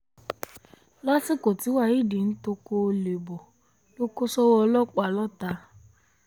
lásìkò tí waheed ń toko olè bọ̀ ló kó sọ́wọ́ ọlọ́pàá lọ́tà